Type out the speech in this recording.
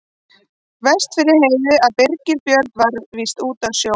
Verst fyrir Heiðu að Birgir Björn var víst úti á sjó.